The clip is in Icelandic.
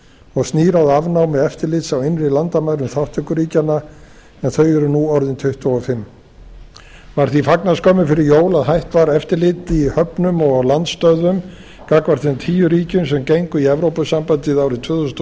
og snýr að afnámi eftirlits á innri landamærum þátttökuríkjanna en þau eru nú orðin tuttugu og fimm var því fagnað skömmu fyrir jól að hætt var eftirliti í höfnum og á landstöðvum gagnvart þeim tíu ríkjum sem gengu í evrópusambandið árið tvö þúsund og